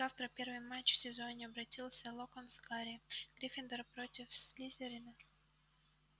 завтра первый матч в сезоне обратился локонс к гарри гриффиндор против слизерина